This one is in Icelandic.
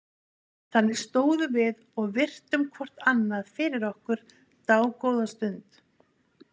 Þannig stóðum við og virtum hvort annað fyrir okkur dágóða stund.